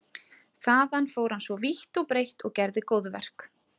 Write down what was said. Þaðan fór hann svo vítt og breitt og gerði góðverk.